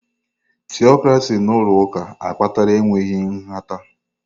Tịọkracị n'ụlọ ụka akpatala enweghị nhata.